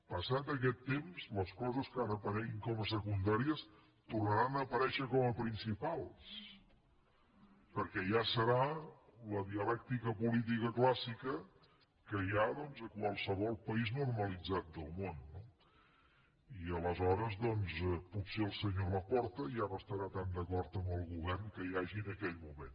passat aquest temps les coses que ara apareguin com a secundàries tornaran a aparèixer com a principals perquè ja serà la dialèctica política clàssica que hi ha a qualsevol país normalitzat del món no i aleshores potser el senyor laporta ja no estarà tan d’acord amb el govern que hi hagi en aquell moment